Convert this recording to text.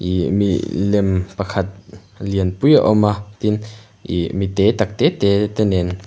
ihhh milem pakhat lianpui a awm a tin ihh mi te tak tak te nen.